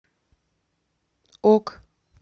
ок